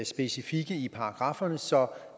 specifikke i paragrafferne så